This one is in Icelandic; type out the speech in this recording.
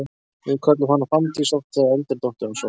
Við kölluðum hana Fanndís oft þegar eldri dóttirin var sofnuð.